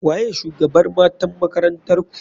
Waye shugabr matan makarantarku?